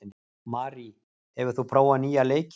Marí, hefur þú prófað nýja leikinn?